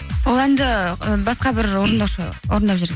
ол әнді і басқа бір орындаушы орындап жүр